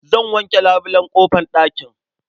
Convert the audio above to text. Zan wanke labulen ƙofar ɗakin.